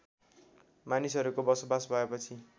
मानिसहरूको बसोबास भएपछि